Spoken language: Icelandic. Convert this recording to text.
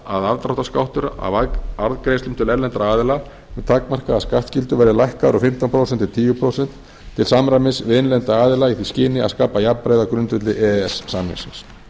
afdráttarskattur af arðgreiðslum til erlendra aðila með takmarkaða skattskyldu verði lækkaður úr fimmtán prósent í tíu prósent til samræmis við innlenda aðila í því skyni að skapa jafnræði á grundvelli e e s samningsins